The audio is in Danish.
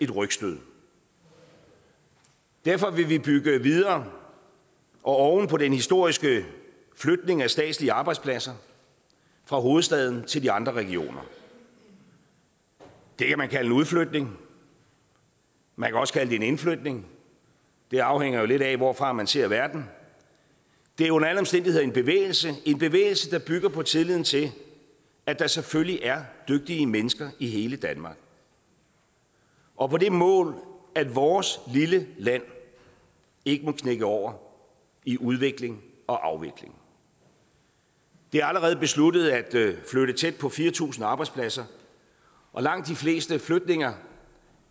rygstød derfor vil vi bygge videre og oven på den historiske flytning af statslige arbejdspladser fra hovedstaden til de andre regioner det kan man kalde en udflytning man kan også kalde det en indflytning det afhænger jo lidt af hvorfra man ser verden det er under alle omstændigheder en bevægelse en bevægelse der bygger på tilliden til at der selvfølgelig er dygtige mennesker i hele danmark og på det mål at vores lille land ikke må knække over i udvikling og afvikling det er allerede besluttet at flytte tæt på fire tusind arbejdspladser og langt de fleste flytninger